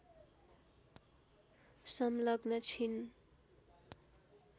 संलग्न छिन्